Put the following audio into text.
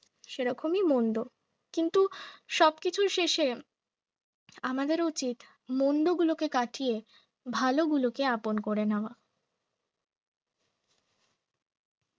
সেরকমই মন্দ কিন্তু সব কিছুর শেষে আমাদের উচিত মন্দ গুলোকে কাটিয়ে ভালো গুলোকে আপন করে নেওয়া